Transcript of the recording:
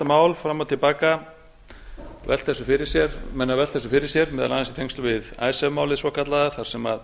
mál fram og til baka menn hafa velt þessu fyrir sér meðal annars í tengslum við icesave málið svokallaða þar sem